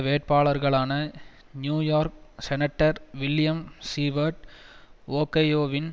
வேட்பாளர்களான New York senator William Seward ஒகையோவின்